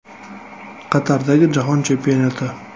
Qatardagi Jahon Chempionati?